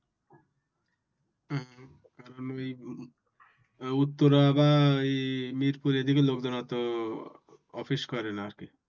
উত্তরা বা এই মিরপুরে এদিকে লোক দাঁড়াতে office করে না আর কি